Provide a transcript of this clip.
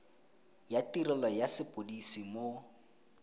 ya tirelo ya sepodisi mo